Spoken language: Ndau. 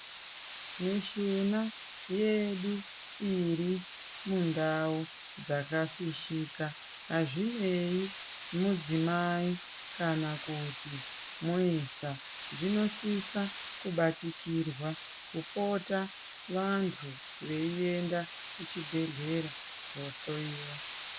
Mishuna yedu iri mundau dzakafishika azvinei mudzimai kana kuti muisa dsinosisa kubatikirwa kupota vantu veienda kuchibhedhlera kohloyiwa .